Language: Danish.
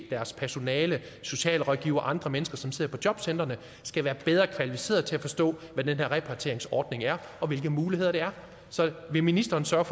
deres personale socialrådgivere og andre mennesker som sidder på jobcentrene skal være bedre kvalificerede til at forstå hvad den her repatrieringsordning er og hvilke muligheder der er så vil ministeren sørge